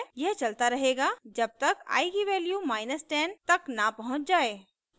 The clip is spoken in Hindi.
यह चलता रहेगा जब तक i की वैल्यू 10 तक न पहुँच जाये